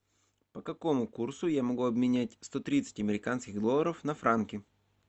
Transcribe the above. по какому курсу я могу обменять сто тридцать американских долларов на франки